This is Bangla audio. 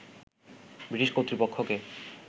ব্রিটিশ কর্তৃপক্ষকে